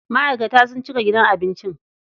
Ma'aikata sun cika gidan abincin.